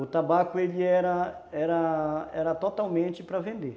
O tabaco era era totalmente para vender.